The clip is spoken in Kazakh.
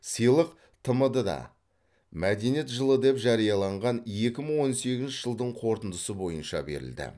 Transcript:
сыйлық тмд да мәдениет жылы деп жарияланған екі мың он сегізінші жылдың қорытындысы бойынша берілді